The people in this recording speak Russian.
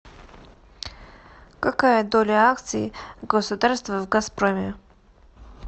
какая доля акций государства в газпроме